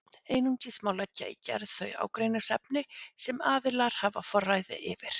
Einungis má leggja í gerð þau ágreiningsefni sem aðilar hafa forræði yfir.